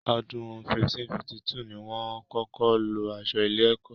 Ọdún 1552 ni wọ́n kọ́kọ́ lo aṣọ ilé-ẹ̀kọ́.